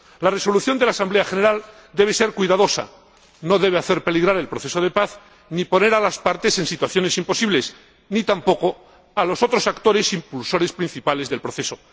La resolución de la Asamblea General debe ser cuidadosa, no debe hacer peligrar el proceso de paz ni poner a las partes en situaciones imposibles, tampoco a los otros actores, impulsores principales del proceso.